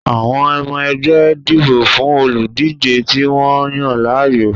Àwọn ọmọ ẹgbẹ́ dìbò fún olùdíje tí wọ́n yàn láàyò